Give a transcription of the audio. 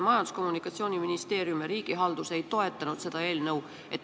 Majandus- ja Kommunikatsiooniministeerium ega ka riigihalduse minister ei toetanud seda eelnõu.